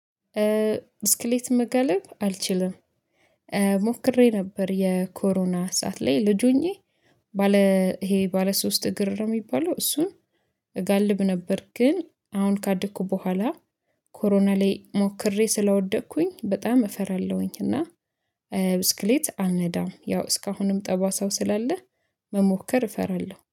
ብስክሌት መጋለብ አልችልም። ሞክሬ ነበር የኮሮና ሰዓት ላይ ልጅ ሆኜ ባለ ይሄ ባለ ሶስት እግር ነው የሚባለው እሱን እጋልብ ነበር። ግን አሁን ካደኩ በኋላ ኮሮና ላይ ሞክሬ ስለወደቅኩኝ በጣም እፈራለሁኝ። እና ብስክሌት አልነዳም። ያው እስካሁንም ጠባሳው ስላለህ መሞከር እፈራለሁ